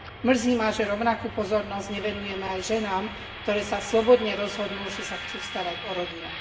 Mrzí ma, že rovnakú pozornosť nevenujeme aj ženám, ktoré sa slobodne rozhodnú, že sa chcú starať o rodinu.